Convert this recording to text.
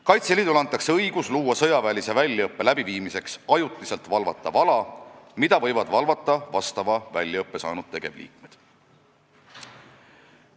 Kaitseliidule antakse õigus luua sõjaväeliseks väljaõppeks ajutiselt valvatav ala, mida võivad valvata vastava väljaõppe saanud tegevliikmed.